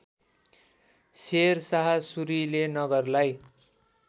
Sher Shah Surile नगरलाई